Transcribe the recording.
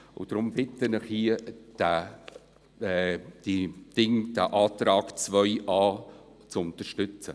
Deshalb bitte ich Sie, den Antrag 2a.a zu unterstützen.